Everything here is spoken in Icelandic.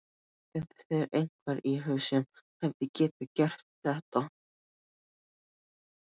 Dettur þér einhver í hug sem hefði getað gert þetta?